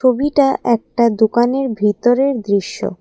ছবিটা একটা দোকানের ভিতরের দৃশ্য।